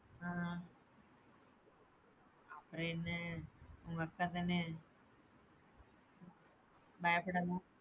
அ அப்புறம் என்ன உங்க அக்கா தானே பயப்படாம,